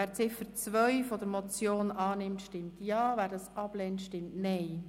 Wer Ziffer 2 als Motion annimmt, stimmt Ja, wer dies ablehnt, stimmt Nein.